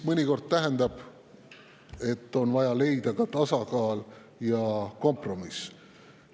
Mõnikord tähendab see, et on vaja leida ka tasakaal ja kompromiss.